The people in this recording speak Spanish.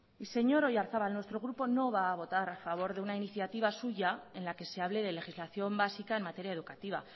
señor oyarzabal nuestro grupo no va a votar a favor de una iniciativa suya en la que se hable de legislación básica en materia educativa